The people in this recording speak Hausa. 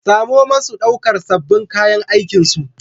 Samo masu ɗaukar sabbin kayan aikinsu